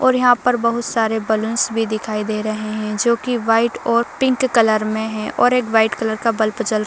और यहाँ बहुत सारे बलून्स भी दिखाई दे रहे हैं जो कि वाइट और पिंक कलर में हैं और एक वाइट कलर का बल्ब जल --